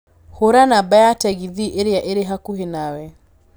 Hũra namba ya tegithĨ ĩrĩa ĩrĩ hakuhĩ nawe